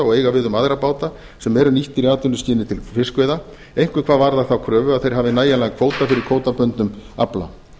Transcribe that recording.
og eiga við um aðra báta sem eru nýttir í atvinnuskyni til fiskveiða einkum hvað varðar þá kröfu að þeir hafi nægjanlega kvóta fyrir kvótabundnum afla